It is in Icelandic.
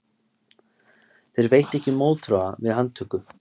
Þeir veittu ekki mótþróa við handtöku